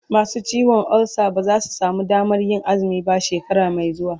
masu ciwon ulsa ba zasu samu Damanr Yin azumi ba shekara Mai xuwa